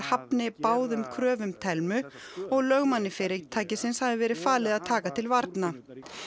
hafni báðum kröfum Thelmu og lögmanni fyrirtækisins hafi verið falið að taka til varna